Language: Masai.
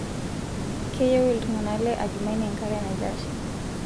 Keyieu iltung'ana le Adjumani enkare naitashe